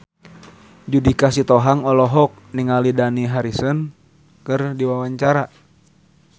Judika Sitohang olohok ningali Dani Harrison keur diwawancara